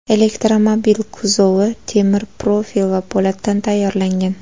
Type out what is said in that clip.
Elektromobil kuzovi temir profil va po‘latdan tayyorlangan.